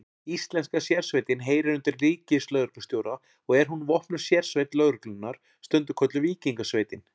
Íslenska sérsveitin heyrir undir ríkislögreglustjóra og er hún vopnuð sérsveit lögreglunnar, stundum kölluð Víkingasveitin.